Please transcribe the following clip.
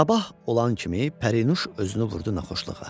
Sabah olan kimi Pərinuş özünü vurdu naxoşluğa.